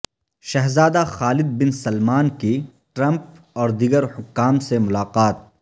شہزادہ Khalid bin Salman کی Trump اور دیگر حکام سے ملاقات